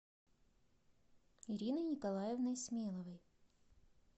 ириной николаевной смеловой